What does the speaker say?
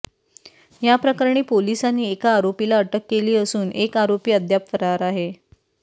या प्रकरणी पोलिसांनी एका आरोपीला अटक केली असून एक आरोपी अद्याप फरार आहे